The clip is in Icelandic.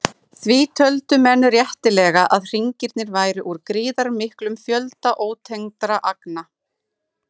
Því töldu menn réttilega að hringirnir væru úr gríðarmiklum fjölda ótengdra agna.